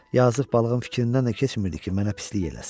Yazıq balığın fikrindən də keçmirdi ki, mənə pislik eləsin.